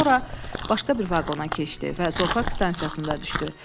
Sonra başqa bir vaqona keçdi və zoopark stansiyasında düşdü.